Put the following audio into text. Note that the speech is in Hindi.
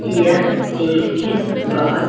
यह एक बहुत।